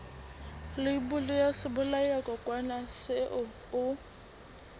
leibole ya sebolayakokwanyana seo o